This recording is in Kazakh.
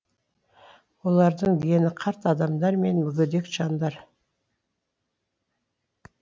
олардың дені қарт адамдар мен мүгедек жандар